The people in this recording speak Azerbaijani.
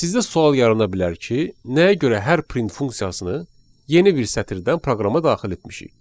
Sizdə sual yarana bilər ki, nəyə görə hər print funksiyasını yeni bir sətirdən proqrama daxil etmişik?